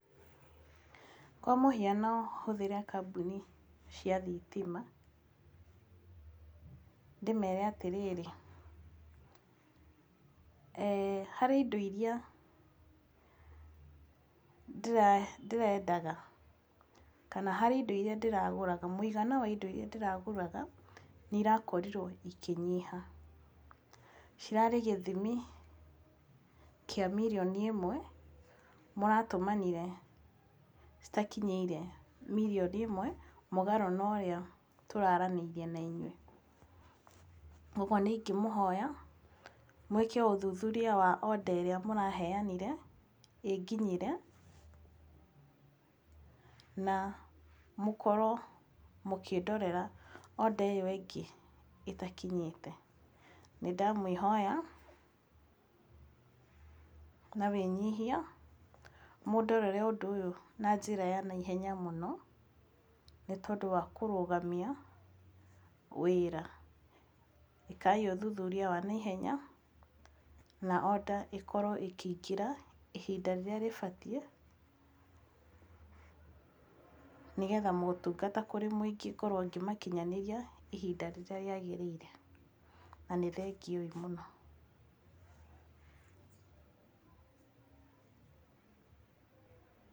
Kwa mũhiano hũthĩre kambuni cia thitima, ndĩmere atĩrĩrĩ, harĩ indo irĩa ndĩrendaga kana harĩ indo irĩa ndĩraguraga, mũigana wa indo irĩa ndĩragũraganĩ nĩ irakorirwo ikĩnyiha. Cirarĩ gĩthimi kĩa mirioni ĩmwe maratũmanire citakinyĩte mirioni ĩmwe mũgarũ na ũrĩa tũraaranĩirie na inyuĩ. Ũguo nĩ ingĩmũhoya mwĩke ũthuthuria wa order ĩrĩa mũraheanire ĩnginyĩre na mũkorwo mũkĩndorera order ĩyo ĩngĩ ĩtakinyĩte. Nĩ ndamũĩhoya na wĩnyihia mũndorere ũndũ ũyũ na njĩra ya naihenya mũno nĩ tondũ wa kũrũgamia wĩra. ĩkaai ũthuthuria wa naihenya na order ĩkorwo ĩkĩingĩra ihinda rĩrĩa rĩbatiĩ, nĩgetha motungata kũrĩ mũingĩ ngorwo ngĩmakinyanĩria ihinda rĩrĩa rĩagĩrĩire. Na nĩ thengiũ ii mũno.